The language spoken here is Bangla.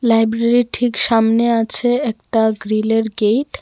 লাইব্রেরীর ঠিক সামনে আছে একটা গ্রিলের গেট .